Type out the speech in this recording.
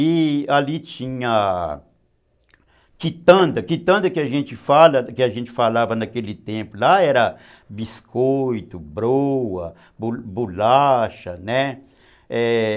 E ali tinha quitanda, quitanda que a gente falava naquele tempo, lá era biscoito, broa, bolacha, né? é...